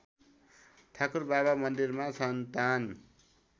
ठाकुरबाबा मन्दिरमा सन्तान